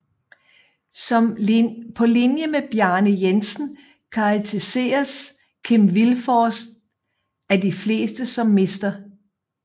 På linje med Bjarne Jensen karakteriseres Kim Vilfort af de fleste som Mr